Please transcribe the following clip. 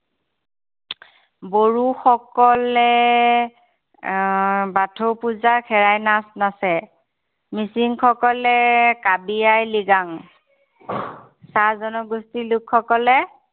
বড়োসকলে আহ বাথৌ পূজাত খেৰাই নাচ নাচে। মিচিংসকলে কাবি আই লিগাং। চাহ জনগোষ্ঠীৰ লোকসকলে